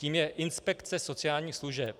Tím je inspekce sociálních služeb.